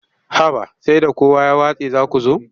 Haba sai da kowa ya watse za ku zo.